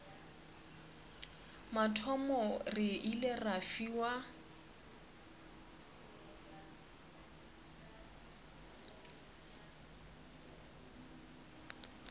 mathomo re ile ra fiwa